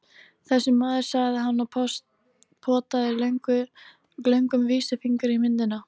Þessi maður, sagði hann og potaði löngum vísifingri í myndina.